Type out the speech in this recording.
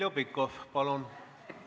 Heljo Pikhof, palun!